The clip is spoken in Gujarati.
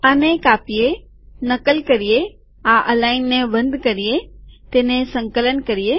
આને કાપીએનકલ કરીએઆ અલાઈનને બંધ કરીએતેને સંકલન કરીએ